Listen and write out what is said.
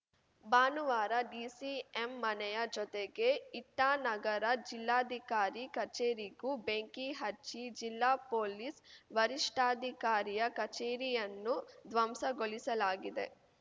ಭಾನುವಾರ ಡಿಸಿಎಂ ಮನೆಯ ಜೊತೆಗೆ ಇಟಾನಗರ ಜಿಲ್ಲಾಧಿಕಾರಿ ಕಚೇರಿಗೂ ಬೆಂಕಿ ಹಚ್ಚಿ ಜಿಲ್ಲಾ ಪೊಲೀಸ್‌ ವರಿಷ್ಠಾಧಿಕಾರಿಯ ಕಚೇರಿಯನ್ನು ಧ್ವಂಸಗೊಳಿಸಲಾಗಿದೆ